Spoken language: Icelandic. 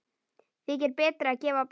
Þykir betra að gefa barnið.